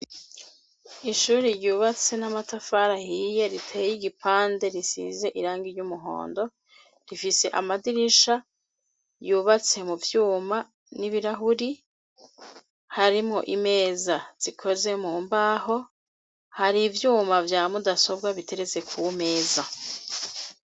Ishuri ryubatse n'amatafari ahiye riteye igipande ,risize irangi ry'umuhondo rifise amadirisha yubatse mu vyuma n'ibirahuri, harimwo imeza zikoze mu mbaho hari ivyuma vya mudasobwa biteretse ku meza.